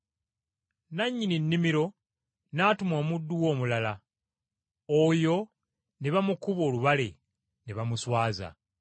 Nannyini nnimiro n’atuma omuddu we omulala, oyo ne bamukuba olubale, ne bamuswaza.